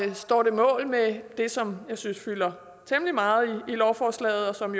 det står mål med det som jeg synes fylder temmelig meget i lovforslaget og som